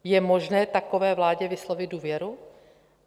Je možné takové vládě vyslovit důvěru?